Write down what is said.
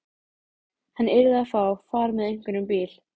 Hann yrði að fá far með einhverjum bíl.